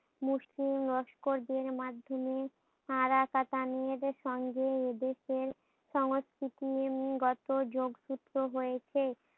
মুসলিম লস্করদের মাধ্যমে আরাকাতানিয়াদের সঙ্গে এদেশের সংস্কৃতি উম গত যোগ সূত্র হয়েছে।